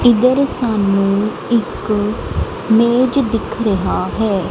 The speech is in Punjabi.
ਇਧਰ ਸਾਨੂੰ ਇੱਕ ਮੇਜ ਦਿਖ ਰਿਹਾ ਹੈ।